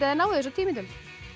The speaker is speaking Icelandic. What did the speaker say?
þið náið þessu á tíu mínútum